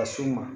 Ka s'u ma